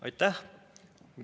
Aitäh!